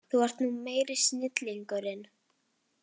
Þú ert nú meiri snillingurinn!